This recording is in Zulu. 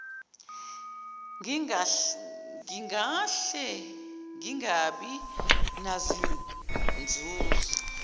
ngingahle ngingabi nazinzuzo